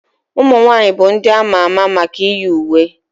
ụmụnwaanyị bụ ndị a ma ama maka iyi uwe